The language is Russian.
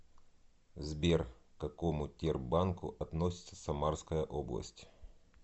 сбер к какому тербанку относится самарская область